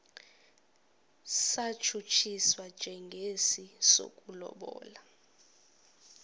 satshutshiswa njengesi sokulobola